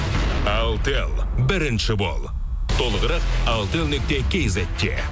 алтел бірінші бол толығырақ алтел нүкте кизетте